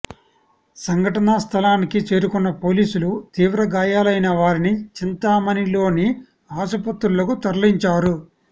సంఘటనా స్థలానికి చేరుకున్న పోలీసులు తీవ్రగాయాలైన వారిని చింతామణిలోని ఆసుపత్రులకు తరలించారు